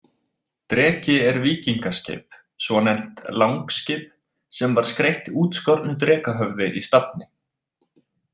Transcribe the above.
Dreki er víkingaskip, svonefnt langskip, sem var skreytt útskornu drekahöfði í stafni.